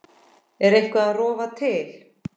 Er eitthvað að rofa til?